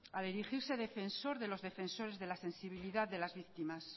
al erigirse defensor de los defensores de la sensibilidad de las víctimas